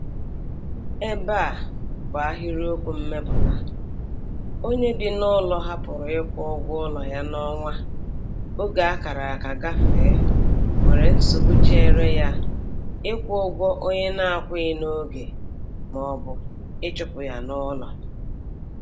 Ebe a bụ ahịrịokwu mmepụta: "Onye bị n'ụlọ hapụrụ ịkwụ ụgwọ ụlọ ya n'ọnwa oge a kara aka gafee nwere nsogbu chere ya ịkwụ ụgwọ onye na-akwụghị n'oge ma ọ bụ ịchụpụ ya n'ụlọ.